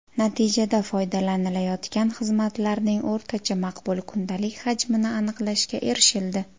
Natijada foydalanilayotgan xizmatlarning o‘rtacha maqbul kundalik hajmini aniqlashga erishildi.